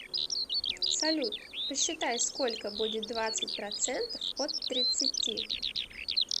салют посчитай сколько будет двадцать процентов от тридцати